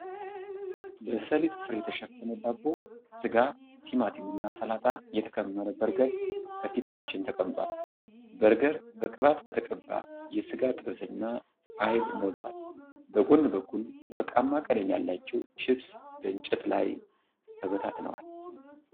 በሰሊጥ ፍሬ የተሸፈነ ዳቦ፣ ስጋ፣ ቲማቲም እና ሰላጣ የተከመረ በርገር ከፊታችን ተቀምጧል። በርገር በቅባት በተቀባ የስጋ ጥብስ እና አይብ ሞልቷል። በጎን በኩል ወርቃማ ቀለም ያላቸው ችፕስ በእንጨት ላይ ተበታትነዋል።